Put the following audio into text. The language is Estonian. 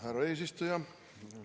Härra eesistuja!